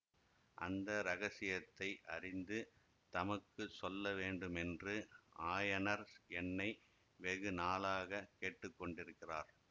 அந்த இரகசியத்தை அறிந்து தமக்கு சொல்லவேண்டுமென்று ஆயனர் என்னை வெகு நாளாகக் கேட்டுக்கொண்டிருக்கிறார்